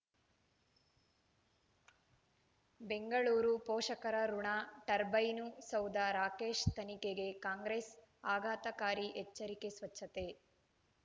ಬೆಂಗಳೂರು ಪೋಷಕರಋಣ ಟರ್ಬೈನು ಸೌಧ ರಾಕೇಶ್ ತನಿಖೆಗೆ ಕಾಂಗ್ರೆಸ್ ಆಘಾತಕಾರಿ ಎಚ್ಚರಿಕೆ ಸ್ವಚ್ಛತೆ